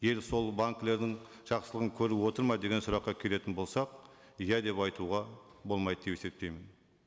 ел сол банкілердің жақсылығын көріп отыр ма деген сұраққа келетін болсақ иә деп айтуға болмайды деп есептеймін